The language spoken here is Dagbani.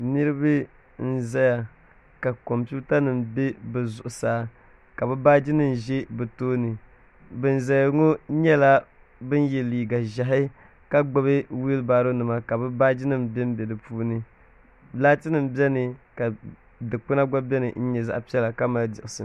Niriba n-zaya ka kompiitanima be bɛ zuɣusaa ka bɛ baajinima za be tooni ban zaya ŋɔ nyɛla ban ye liiga ʒɛhi ka gbubi wilibaaronima ka bɛ nɛma benbe di puuni laatinima beni ka dukpuna gba beni ka mali diɣisi.